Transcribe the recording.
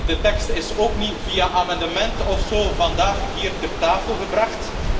De tekst is ook niet, via amendementen of zo, vandaag hier ter tafel gebracht.